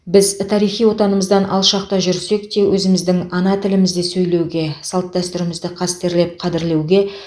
біз тарихи отанымыздан алшақта жүрсек те өзіміздің ана тілімізде сөйлеуге салт дәстүрімізді қастерлеп қадірлеуге